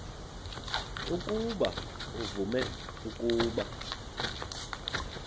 ukuba uvume ukuba